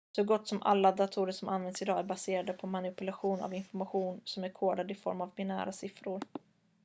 så gott som alla datorer som används idag är baserade på manipulation av information som är kodad i form av binära siffror